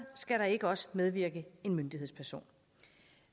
skal der ikke også medvirke en myndighedsperson